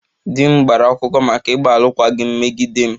Di m gbara akwụkwọ maka ịgba alụkwaghịm megide m